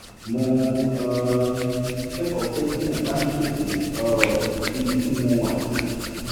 mo um kẹ́kọ̀ọ́ pé tí mo bá ń ṣètò um ibi tí mo wà